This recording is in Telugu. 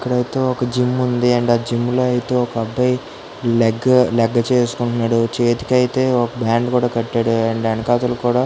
ఇక్కడ అయితే ఒక జిమ్ ఉంది. అండ్ జిమ్ లో అయితే లెగ్ లెగ్ చేసుకుంటున్నాడు. చేతికి అయితే ఒక బ్యాండ్ కూడా కట్టాడు. అండ్ వెనకతో కూడా --